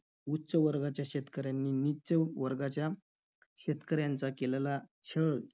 उच्च वर्गाच्या शेतकऱ्यांनी निच्च वर्गाच्या शेतकऱ्यांचा केलला छळ,